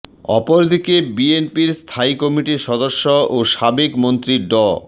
অপরদিকে বিএনপির স্থায়ী কমিটির সদস্য ও সাবেক মন্ত্রী ড